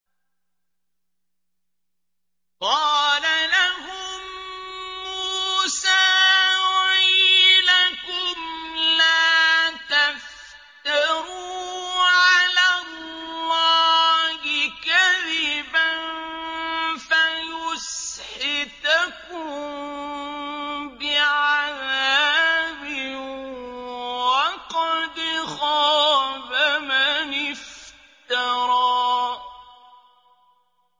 قَالَ لَهُم مُّوسَىٰ وَيْلَكُمْ لَا تَفْتَرُوا عَلَى اللَّهِ كَذِبًا فَيُسْحِتَكُم بِعَذَابٍ ۖ وَقَدْ خَابَ مَنِ افْتَرَىٰ